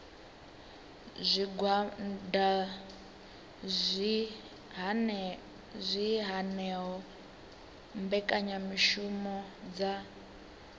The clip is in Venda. zwigwada zwi hanaho mbekanyamishumo dza